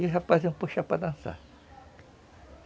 E o rapazinho puxava para dançar.